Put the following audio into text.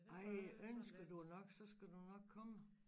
Ej ønsker du nok så skal du nok komme